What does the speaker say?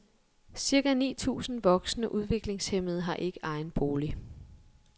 Cirka ni tusinde voksne udviklingshæmmede har ikke egen bolig.